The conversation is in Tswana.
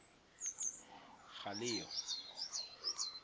galeyo